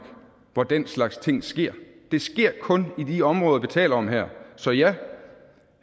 hvor den slags ting sker det sker kun i de områder vi taler om her så ja